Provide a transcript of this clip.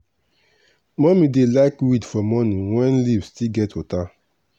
mummy dey like weed for morning when leaf still get water.